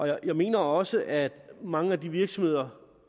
jeg mener også at mange af de virksomheder